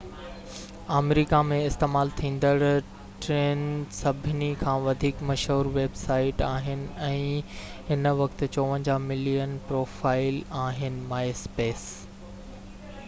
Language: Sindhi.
myspace آمريڪا ۾ استعمال ٿيندڙ ٽين سڀني کان وڌيڪ مشهور ويب سائيٽ آهي ۽ هن وقت 54 ملين پروفائيل آهن